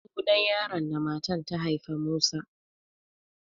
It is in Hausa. Sunan yaron da matan ta haifa Musa.